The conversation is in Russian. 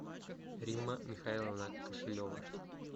римма михайловна кошелева